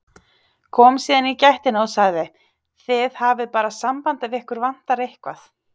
Kom síðan í gættina og sagði: Þið hafið bara samband ef ykkur vantar eitthvað.